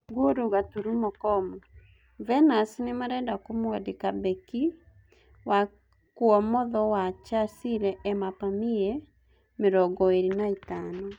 (Ngũru. kom) Venus nĩmarenda kũmwandĩka mbeki wa kuomotho wa Chasile Ema Pamie, mĩrongoĩrĩ na ĩtano.